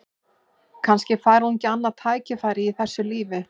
Kannski fær hún ekki annað tækifæri í þessu lífi.